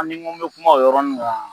A n'i n ko n be kuma o yɔrɔnin kan